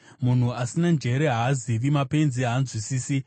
Munhu asina njere haazivi, mapenzi haanzwisisi,